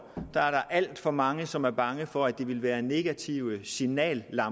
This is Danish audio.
der alt for mange som er bange for at det vil være negative signaler